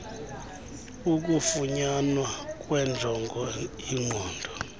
ukufunyanwa kwenjongo inqobo